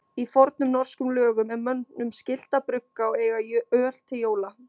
Í fornum norskum lögum er mönnum skylt að brugga og eiga öl til jóla.